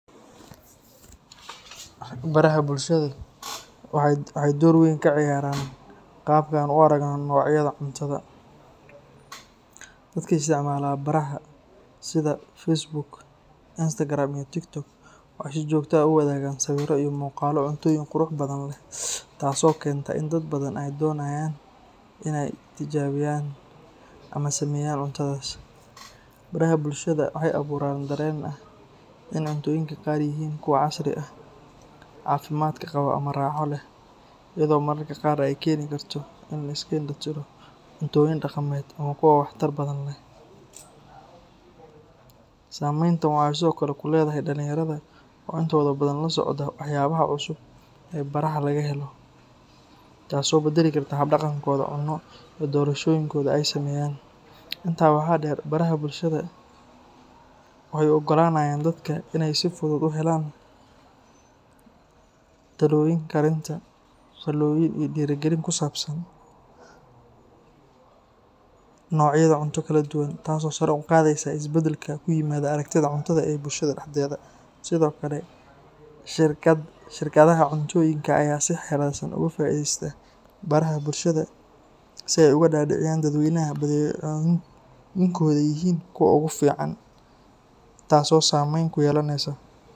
Baraha bulshada waxay door weyn ka ciyaaraan qaabka aan u aragno noocyada cuntada. Dadka isticmaala baraha sida Facebook, Instagram iyo TikTok waxay si joogto ah u wadaagaan sawirro iyo muuqaallo cuntooyin qurux badan leh, taas oo keenta in dad badan ay doonayaan inay tijaabiyaan ama sameeyaan cuntadaas. Baraha bulshada waxay abuuraan dareen ah in cuntooyinka qaar yihiin kuwo casri ah, caafimaad qaba ama raaxo leh, iyadoo mararka qaar ay keeni karto in la iska indha-tiro cuntooyin dhaqameed ama kuwa waxtar badan leh. Saameyntan waxay sidoo kale ku leedahay dhallinyarada oo intooda badan la socda waxyaabaha cusub ee baraha laga helo, taas oo beddeli karta hab-dhaqankooda cunno iyo doorashooyinka ay sameeyaan. Intaa waxaa dheer, baraha bulshada waxay u oggolaanayaan dadka inay si fudud u helaan talooyin karinta, faallooyin iyo dhiirigelin ku saabsan noocyada cunto kala duwan, taas oo sare u qaadaysa isbeddelka ku yimaada aragtida cuntada ee bulshada dhexdeeda. Sidoo kale, shirkadaha cuntooyinka ayaa si xeeladaysan uga faa’iidaysta baraha bulshada si ay uga dhaadhiciyaan dadweynaha in badeecooyinkooda yihiin kuwa ugu fiican, taasoo saameyn ku yeelanaysa.